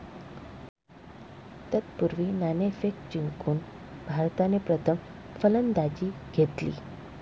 तत्पूर्वी, नाणेफेक जिंकून भारताने प्रथम फलंदाजी घेतली.